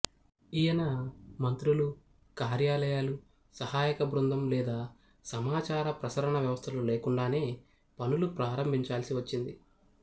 ఈయన మంత్రులు కార్యాలయాలు సహాయక బృందం లేదా సమాచారప్రసరణ వ్యవస్థలు లేకుండానే పనులు ప్రారంభించాల్సి వచ్చింది